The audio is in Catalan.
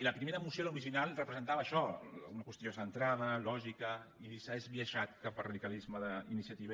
i la primera moció l’original representava ai·xò una qüestió centrada lògica i s’ha esbiaixat cap al radicalisme d’iniciativa